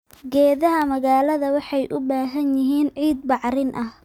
Geedaha magaalada waxay u baahan yihiin ciid bacrin ah.